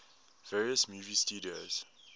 various movie studios